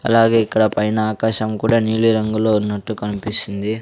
అలాగే ఇక్కడ పైన ఆకాశం కూడా నీలి రంగులో ఉన్నట్టు కన్పిస్తుంది.